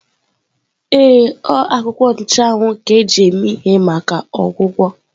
Ee, a akwuko nchuawu eme ihe maka ọgwụgwọ.